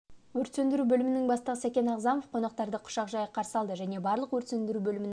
өрт сөндіру бөлімінің бастығы сәкен ағзамов қонақтарын құшақ жая қарсы алды және барлық өрт сөндіру бөлімінің